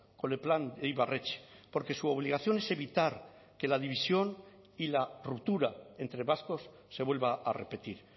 con el plan ibarretxe porque su obligación es evitar que la división y la ruptura entre vascos se vuelva a repetir